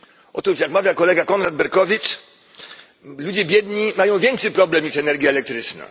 Otóż jak mawia kolega Konrad Berkowicz, ludzie biedni mają większy problem niż energia elektryczna.